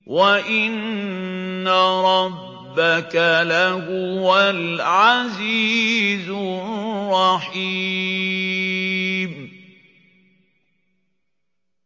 وَإِنَّ رَبَّكَ لَهُوَ الْعَزِيزُ الرَّحِيمُ